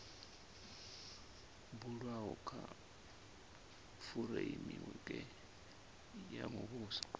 bulwaho kha fureimiweke ya muvhuso